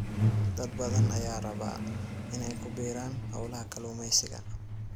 Dad badan ayaa raba inay ku biiraan hawlaha kalluumaysiga.